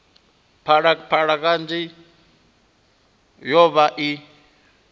phalaphala kanzhi yo vha i